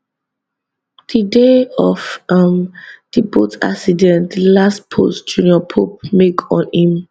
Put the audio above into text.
di day of um di boat accident di last post junior pope make on im